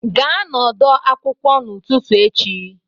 Gaa n'ọdọ akwụkwọ n'ụtụtụ echi!